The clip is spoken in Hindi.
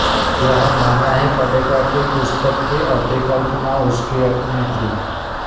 यह मानना ही पड़ेगा कि पुस्तक की अभिकल्पना उसकी अपनी थी